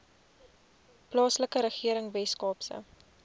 plaaslike regering weskaapse